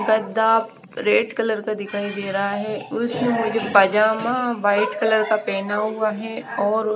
गद्दा red colour का दिखाई दे रहा है उस में मुझे पजामा वाइट कलर का पहना हुआ है और--